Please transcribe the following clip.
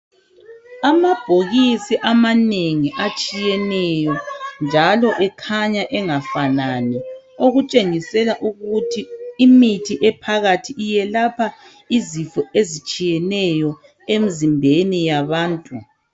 Amabhokisi amanengi amatshiyeneyo njalo ekhanya engafanani okutshengisela ukuthi imithi ephakathi iyelapha izifo ezitshiyeneyo emzimbeni yabantu